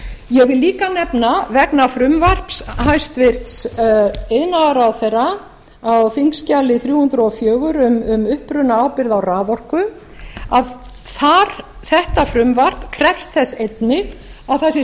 ég vil líka nefna vegna frumvarps hæstvirtur iðnaðarráðherra á þingskjali þrjú hundruð og fjögur um upprunaábyrgð á raforku þetta frumvarp krefst þess einnig að það sé